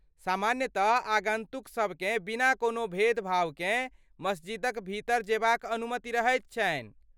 सामान्यतः आगन्तुकसभकेँ बिना कोनो भेदभावकेँ मस्जिदक भीतर जेबाक अनुमति रहैत छनि।